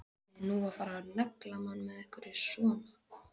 Átti nú að fara að negla mann með einhverju svona?